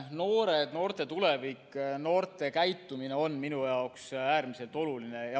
Noored, noorte tulevik, noorte käitumine on minu jaoks äärmiselt oluline.